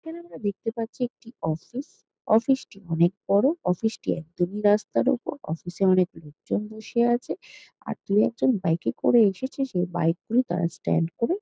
এখানে আমরা দেখতে পাচ্ছি একটি অফিস অফিস টি অনেক বড়ো অফিস টি একদমই রাস্তার ওপর অফিস এ অনেক লোকজন বসে আছে আর দু একজন বাইক এ করে এসেছে সেই বাইক গুলি তারা স্ট্যান্ড করে।